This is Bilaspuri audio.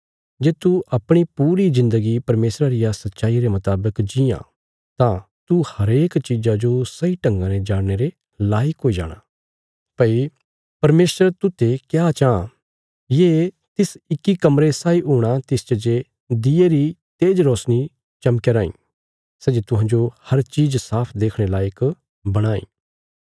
जे तू अपणी पूरी जिन्दगी परमेशरा रिया सच्चाई रे मुतावक जीआं तां तू हरेक चीज़ा जो सही ढंगा ने जाणने रे लायक हुई जाणा भई परमेशर तूते क्या चाँह ये तिस इक्की कमरे साई हूणा तिसच जे दिऊए री तेज रोशनी चमकयां राईं सै जे तुहांजो हर चीज़ साफ देखणे लायक बणांई